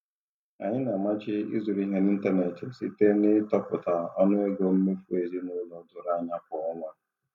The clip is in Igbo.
Anyị na-amachi ịzụrụ ihe n'ịntanetị site n'ịtọpụta ọnụ ego mmefu ezinụlọ doro anya kwa ọnwa.